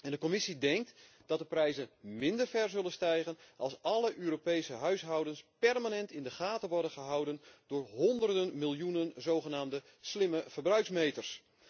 De Commissie denkt dat de prijzen minder zullen stijgen als alle Europese huishoudens permanent in de gaten worden gehouden door honderden miljoenen zogenaamde slimme verbruiksmeters.